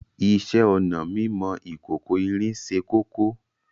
Ìṣẹ̀ onà mímọ̀ ìkòkò-ìrín sẹ́ kókó